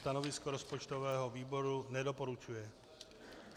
Stanovisko rozpočtového výboru - nedoporučuje.